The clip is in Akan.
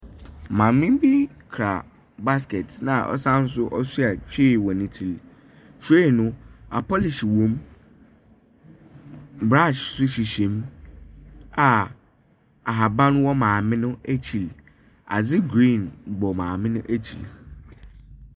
Maame bi kura basket, na ɔsane nso ɔsoa tray wɔ ne tsir mu. Tray no. apolish wɔ mu, brush nso hyehyɛ mu a ahaban wɔ maame no ekyir. Adze green bɔ maame no ekyir.